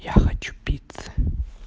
я хочу пиццы